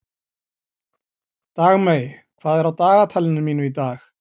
Dagmey, hvað er á dagatalinu mínu í dag?